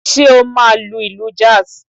Ṣé o máa lu ìlù jazz?